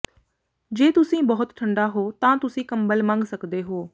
ਜੇ ਤੁਸੀਂ ਬਹੁਤ ਠੰਢਾ ਹੋ ਤਾਂ ਤੁਸੀਂ ਕੰਬਲ ਮੰਗ ਸਕਦੇ ਹੋ